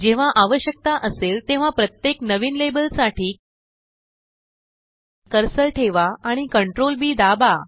जेव्हा आवश्यकता असेल तेव्हाप्रत्येक नविन लेबलसाठी कर्सर ठेवा आणि Ctrl B दाबा